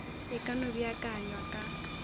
e ka no beakanywa ka